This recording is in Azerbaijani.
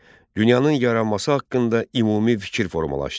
Dünyanın yaranması haqqında ümumi fikir formalaşdı.